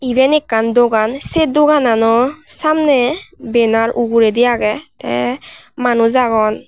eben ekkan dogan se doganano samne benar uguredi agey te manus agon.